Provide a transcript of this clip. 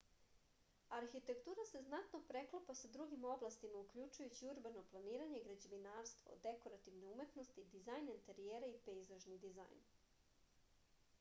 arhitektura se znatno preklapa sa drugim oblastima uključujući urbano planiranje građevinarstvo dekorativne umetnosti dizajn enterijera i pejzažni dizajn